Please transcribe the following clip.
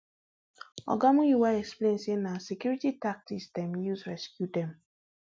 oga muyiwa explain say na security tactics dem use rescue dem